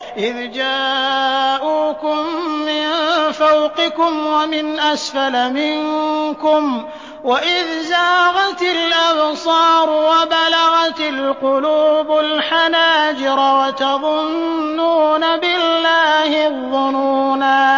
إِذْ جَاءُوكُم مِّن فَوْقِكُمْ وَمِنْ أَسْفَلَ مِنكُمْ وَإِذْ زَاغَتِ الْأَبْصَارُ وَبَلَغَتِ الْقُلُوبُ الْحَنَاجِرَ وَتَظُنُّونَ بِاللَّهِ الظُّنُونَا